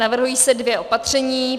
Navrhují se dvě opatření.